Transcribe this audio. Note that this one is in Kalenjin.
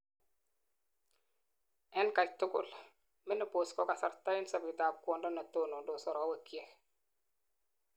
en katugul: menopause ko kasarta en sobet ab kwondo netonondos arowekyik